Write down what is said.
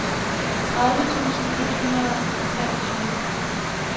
tredive tusind et hundrede og treogtyve